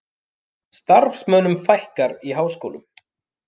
Starfsmönnum fækkar í háskólum